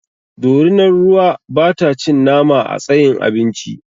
Dorinar ruwa ba ta cin nama a tsayin abinci